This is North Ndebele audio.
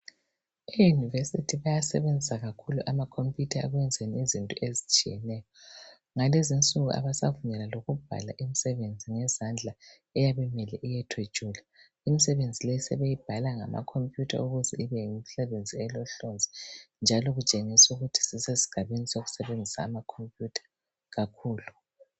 Eunivesithi bayasebenzisa kakhulu ama computer ekwenzeni izinto ezitshiyeneyo. Ngalezinsuku abasavunyelwa lokubhala imisebenzi ngezandla eyabe imele iyethwetshwelwa. Imisebenzi le sebeyibhala ngama computer ukuze ibe yimisebenzi elohlonzi njalo kutshengisa ukuthi sisesigabeni sokusebenzisa ama computer kakhulu.